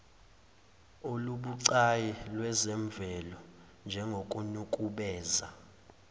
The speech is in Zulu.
olubucayi lwezemvelo njengokunukubeza